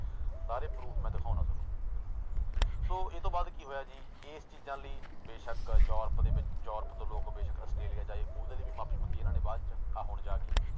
ਸਾਰੇ proof ਮੈਂ ਦਿਖਾਉਨਾ ਤੁਹਾਨੂੰ ਸੋ ਇਹ ਤੋਂ ਬਾਅਦ ਕੀ ਹੋਇਆ ਜੀ ਇਸ ਚੀਜ਼ਾਂ ਲਈ ਬੇਸ਼ਕ ਯੂਰਪ ਦੇ ਵਿੱਚ, ਯੂਰਪ ਤੋਂ ਲੋਕ ਬੇਸ਼ਕ ਆਸਟ੍ਰੇਲੀਆ ਚ ਆਏ ਉਹਦੇ ਲਈ ਵੀ ਮਾਫ਼ੀ ਮੰਗੀ ਇਹਨਾਂ ਨੇ ਬਾਅਦ ਚ ਆਹ ਹੁਣ ਜਾ ਕੇ।